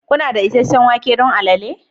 Kuna da isasshen wake don moninmonin?